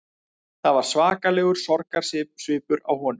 Það var svakalegur sorgarsvipur á honum